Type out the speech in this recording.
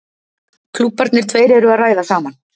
Klúbbarnir tveir eru að ræða saman.